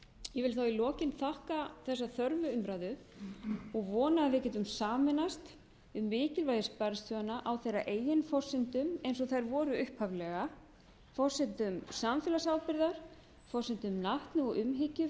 ég vil í lokin þakka þessa þörfu umræðu og vona að við getum sameinast um mikilvægi sparisjóðanna á þeirra eigin forsendum eins og þær voru upphaflega forsendum samfélagsábyrgðar forsendum natni og umhyggju